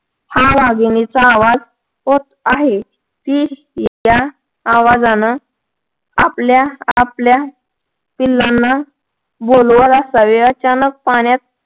हा वाघिणीचा आवाज आहे. ती या आवाजानं आपल्या आपल्या पिल्लाना बोलवत असावी. अचानक पाण्यात